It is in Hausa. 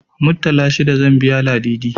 Muttala shida zan biya Ladidi.